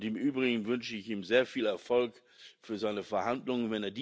Im Übrigen wünsche ich ihm sehr viel Erfolg für seine Verhandlungen.